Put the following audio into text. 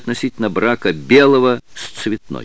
относительно брака белого с цветной